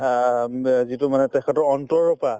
আ উম উব যিটো মানে তেখেতৰ অন্তৰৰ পা